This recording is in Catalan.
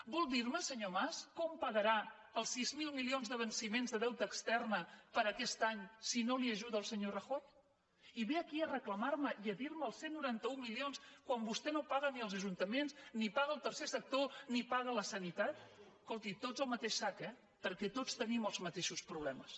vol dir me senyor mas com pagarà els sis mil milions de venciments de deute extern per a aquest any si no l’ajuda el senyor rajoy i ve aquí a reclamar me i a dir me els cent i noranta un milions quan vostè no paga ni als ajuntaments ni paga al tercer sector ni paga a la sanitat escolti tots al mateix sac eh perquè tots tenim els mateixos problemes